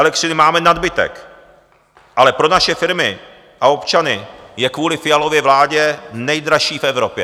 Elektřiny máme nadbytek, ale pro naše firmy a občany je kvůli Fialově vládě nejdražší v Evropě.